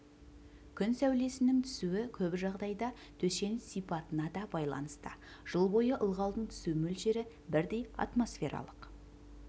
күн сәулесінің түсуі көп жағдайда төсеніш сипатына да байланысты жыл бойы ылғалдың түсу мөлшері бірдей атмосфералық